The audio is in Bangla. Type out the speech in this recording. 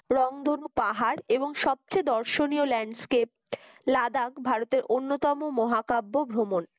রংধনু পাহাড় এবং সবচেয়ে দর্শনীয় landscape লাদাক ভারতের অন্যতম মহাকাব্য ভ্রমণ।